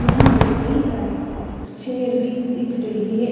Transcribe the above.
यहाँ पे कई सारे चेयर भी दिख रही है।